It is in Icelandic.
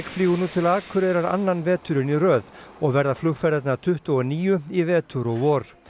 flýgur nú til Akureyrar annan veturinn í röð og verða flugferðirnar tuttugu og níu í vetur og vor